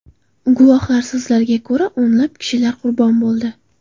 Guvohlar so‘zlariga ko‘ra, o‘nlab kishilar qurbon bo‘ldi.